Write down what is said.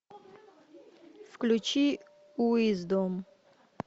включи уиздом